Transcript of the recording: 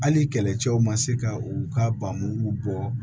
Hali kɛlɛcɛw ma se ka u ka baabu bɔ